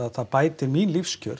það bætir mín lífskjör